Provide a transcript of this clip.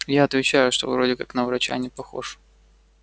я отвечаю что вроде как на врача не похож